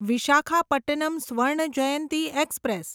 Visakhapatnam Swarna Jayanti express